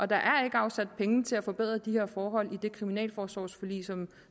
der er ikke afsat penge til at forbedre de her forhold i det kriminalforsorgsforlig som